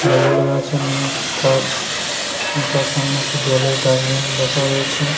Logo লেগা আছে new Taj এবং তার সামনে একটি জলের ডাস্টবিন রাখা রয়েছে।